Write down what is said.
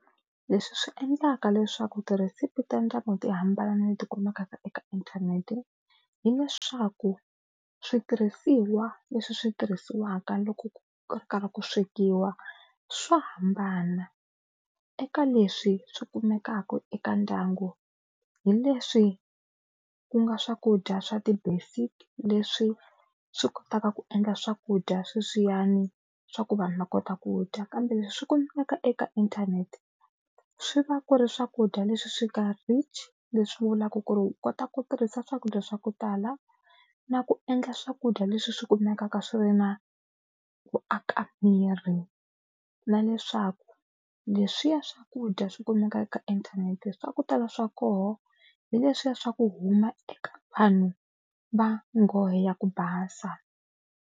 Leswi swi endlaka leswaku tirhesipi ta ndyangu ti hambana na leti kumekaka eka inthanete, hileswaku switirhisiwa leswi swi tirhisiwaka loko ku ri karhi ku swekiwa swo hambana. Eka leswi swi kumekaka eka ndyangu hi leswi ku nga swakudya swa ti basic leswi swi kotaka ku endla swakudya sweswiyani swa ku vanhu va kota ku dya kambe leswi swi kumeka eka inthanete swi va ku ri swakudya leswi swi nga rich leswi vulaka ku ri u kota ku tirhisa swakudya swa ku tala na ku endla swakudya leswi swi kumekaka swi ri na ku aka miri. Na leswaku leswiya swakudya swi kumeka eka inthanete swa ku tala swa koho hi leswiya swa ku huma eka vanhu va ngohe ya ku basa.